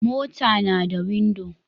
Mota nada windo